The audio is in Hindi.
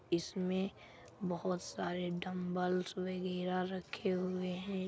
इसमे बहोत सारे डंबलस वगैरा रखे हुए है।